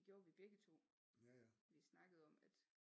Det gjorde vi begge to vi snakkede om at